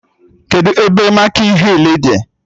Kedụ ebe mịkin hịl dị?